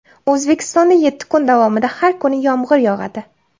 O‘zbekistonda yetti kun davomida har kuni yomg‘ir yog‘adi.